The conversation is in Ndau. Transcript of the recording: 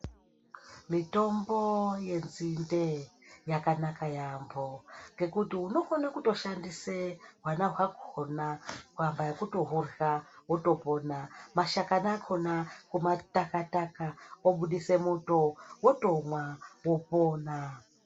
Mitombo yenzinde yakanaka yaamho ngekuti unotokone kushandisa hwana hwakhona paka wotohurya wotopona. Mashakani akhona kumataka taka obudise muto wotomwa wopona.